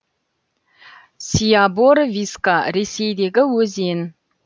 сябор виска ресейдегі өзен